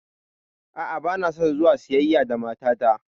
A'a, banason zuwa siyayya da matata.